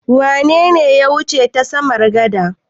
Wane ne ya wuce ta samar gada?